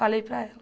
Falei para ela.